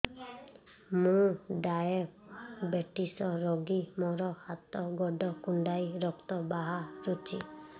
ମୁ ଡାଏବେଟିସ ରୋଗୀ ମୋର ହାତ ଗୋଡ଼ କୁଣ୍ଡାଇ ରକ୍ତ ବାହାରୁଚି